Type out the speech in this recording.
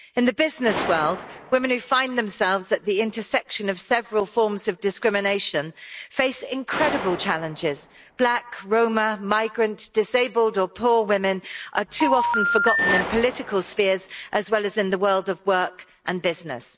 In the business world, women who find themselves at the intersection of several forms of discrimination face incredible challenges black, Roma, migrant, disabled or poor women are too often forgotten in political spheres, as well as in the world of work and business.